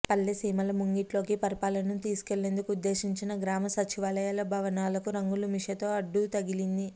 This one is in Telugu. పల్లెసీమల ముంగిట్లోకి పరిపాలనను తీసు కెళ్లేందుకు ఉద్దేశించిన గ్రామ సచివాలయాల భవనాలకు రంగుల మిషతో అడ్డుతగిలింది